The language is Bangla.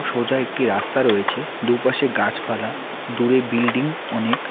সোজা একটি রাস্তা রয়েছে দুপাশে গাছপালা দূরে বিল্ডিং অনেক।